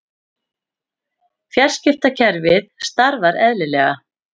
Fjarskiptakerfið starfar eðlilega